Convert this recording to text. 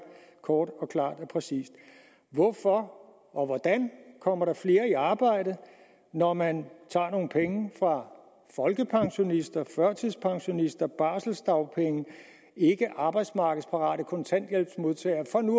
kort og klart og præcist hvorfor og hvordan kommer der flere i arbejde når man tager nogle penge fra folkepensionister førtidspensionister barseldagpenge og ikkearbejdsmarkedsparate kontanthjælpsmodtagere for nu